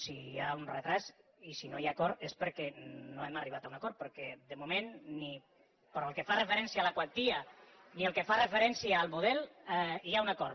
si hi ha un retard i si no hi ha acord és perquè no hem arribat a un acord perquè de moment ni pel que fa referència a la quantia ni pel que fa referència al model hi ha un acord